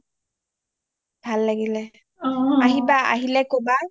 ভাল লাগিলে আহিবা আহিলে কবা